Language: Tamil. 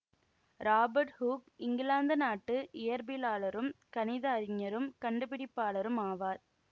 ராபர்ட் ஹூக் இங்கிலாந்து நாட்டு இயற்பிலாளரும் கணித அறிஞரும் கண்டுபிடிப்பாளரும் ஆவார்